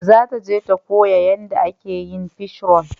Za ta je ta koya yanda ake yin fishroll